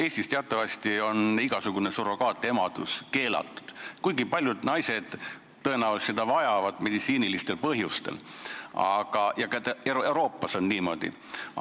Eestis on teatavasti igasugune surrogaatemadus keelatud, kuigi paljud naised tõenäoliselt vajavad seda meditsiinilistel põhjustel, ja ka mujal Euroopas on see nii.